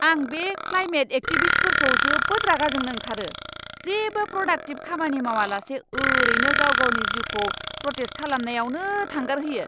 आं बे क्लाइमेट एक्टिभिस्टफोरखौ जोबोद रागा जोंनो ओंखारो, जेबो प्रडाक्टिभ खामानि मावालासे ओरैनो गाव गावनि जिउखौ प्रटेस्ट खालामनायावनो थांगारहोयो!